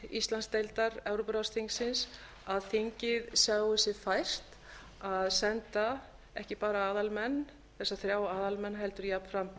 íslandsdeildar evrópuráðsþingsins að þingið sjái sér fært að senda ekki bara þessa þrjá aðalmenn heldur jafnframt